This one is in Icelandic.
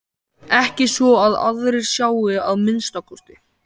Ekki svo að aðrir sjái að minnsta kosti.